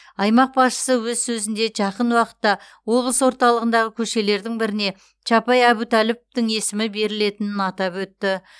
аймақ басшысы өз сөзінде жақын уақытта облыс орталығындағы көшелердің біріне чапай әбутәліповтың есімі берілетінін атап өтті